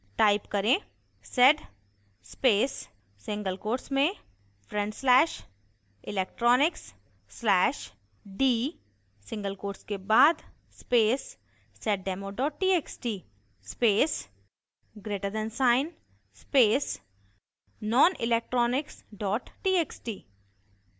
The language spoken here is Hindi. type: